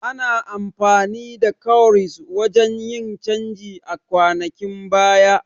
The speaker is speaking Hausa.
Ana amfani da Kowries wajan yin canji a kwanakin baya